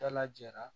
Dalajɛra